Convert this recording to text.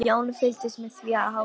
Jón fylgdist með því af áhuga.